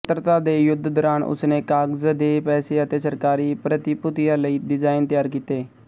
ਸੁਤੰਤਰਤਾ ਦੇ ਯੁੱਧ ਦੌਰਾਨ ਉਸਨੇ ਕਾਗਜ਼ ਦੇ ਪੈਸੇ ਅਤੇ ਸਰਕਾਰੀ ਪ੍ਰਤੀਭੂਤੀਆਂ ਲਈ ਡਿਜ਼ਾਈਨ ਤਿਆਰ ਕੀਤੇ